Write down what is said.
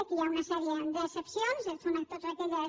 aquí hi ha una sèrie d’excepcions són totes aquelles